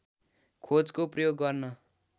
खोजको प्रयोग गर्न